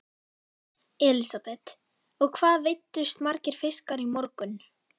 Elísabet: Og hvað veiddust margir fiskar í morgun?